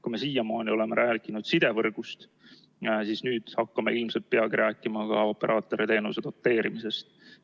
Kui me siiamaani oleme rääkinud sidevõrgust, siis nüüd hakkame ilmselt peagi rääkima ka operaatoriteenuse doteerimisest.